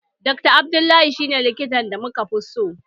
Dr Abdullah shi ne likitan da muka fi so